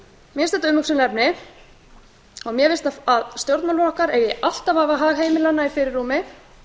mér finnst þetta umhugsunarefni og mér finnst að stjórnmálaflokkar eigi alltaf að hafa hag heimilanna í fyrirrúmi